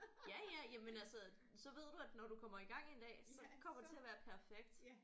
Ja ja jamen altså så ved du at når du kommer i gang en dag så kommer det til at være perfekt